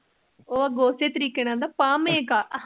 ਉਹ ਅੱਗੋ ਉਸੇ ਤਰੀਕੇ ਨਾਲ ਕਹਿੰਦਾ ਪਾਮੇ ਕਾ ।